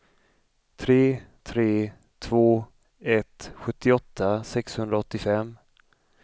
tre tre två ett sjuttioåtta sexhundraåttiofem